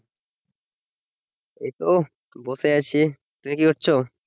এইতো বসে আছি তুমি কি করছো